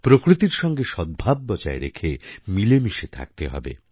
প্রকৃতির সঙ্গে সদ্ভাব বজায় রেখে মিলেমিশে থাকতে হবে